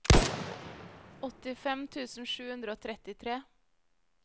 åttifem tusen sju hundre og trettitre